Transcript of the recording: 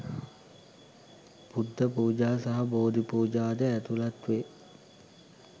බුද්ධ පූජා සහ බෝධි පූජා ද ඇතුළත් වේ.